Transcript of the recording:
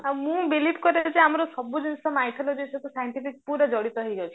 ଆଉ ମୁଁ believe କରେ ଯେ ଆମର ସବୁ ଜିନିଷ mycology ସହିତ scientific ପୁରା ଜଡିତ ହେଇକି ଅଛି